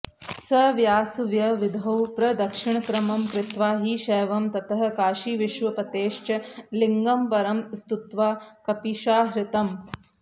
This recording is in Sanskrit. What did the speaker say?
सव्यासव्यविधौ प्रदक्षिणक्रमं कृत्वा हि शैवं ततः काशीविश्वपतेश्च लिङ्गमपरं स्तुत्वा कपीशाहृतम्